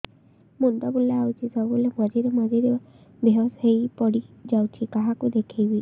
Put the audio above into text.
ମୁଣ୍ଡ ବୁଲାଉଛି ସବୁବେଳେ ମଝିରେ ମଝିରେ ବେହୋସ ହେଇ ପଡିଯାଉଛି କାହାକୁ ଦେଖେଇବି